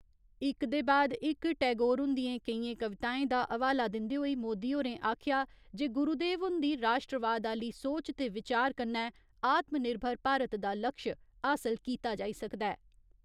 इक दे बाद इक टैगोर हुन्दियें केइयें कविताएं दा हवाला दिन्दे होई मोदी होरें आखेआ जे गुरुदेव हुन्दी राश्ट्रवाद आह्‌ली सोच ते विचार कन्नै आत्मनिर्भर भारत दा लक्ष्य हासल कीता जाई सकदा ऐ।